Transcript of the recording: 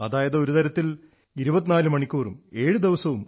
അതായത് ഒരു തരത്തിൽ 24 7 365 ദിവസം